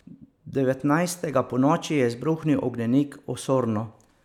Devetnajstega ponoči je izbruhnil ognjenik Osorno.